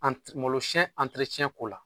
malosiyɛn ko la